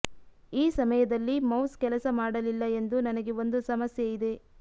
ಈ ಸಮಯದಲ್ಲಿ ಮೌಸ್ ಕೆಲಸ ಮಾಡಲಿಲ್ಲ ಎಂದು ನನಗೆ ಒಂದು ಸಮಸ್ಯೆಯಿದೆ